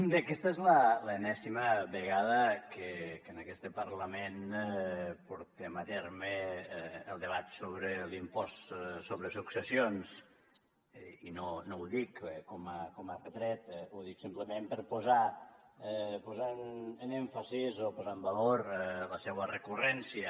bé aquesta és la enèsima vegada que en este parlament portem a terme el debat sobre l’impost sobre successions i no ho dic com a retret ho dic simplement per posar èmfasi o posar en valor la seua recurrència